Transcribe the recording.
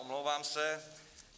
Omlouvám se.